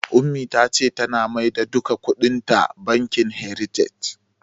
Ummi ta ce tana maida duka kuɗin ta bankin "heritage".